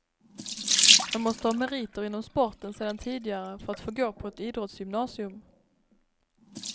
Man måste ha meriter inom sporten sedan tidigare för att få gå på ett idrottsgymnasium.